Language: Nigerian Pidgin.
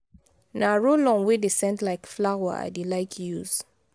na roll-on wey dey scent like flower i dey like use.